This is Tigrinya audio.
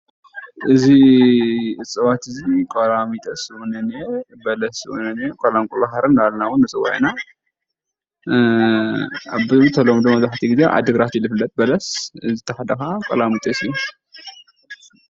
እዚ እፅዋት እዚ ቀላሚጦስ እውን እኒአ፣ በለስ እውን እኒአ፣ ቆላንቁል ባሕሪ እንዳበልና እውን ንፀወዖ ኢና ብተለምዶ መብዛሕትኡ ግዜ ኣብ ዓዲግራት እዩ ዝፍለጥ በለስ እቲ ሓደ ከዓ ቀላሚጦሰ እዩ።